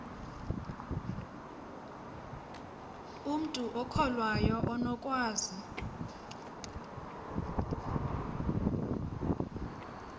umntu okholwayo unokwazi